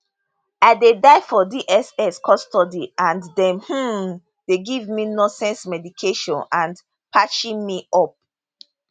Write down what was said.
i dey die for dss custody and dem um dey give me nonsense medication and parching me up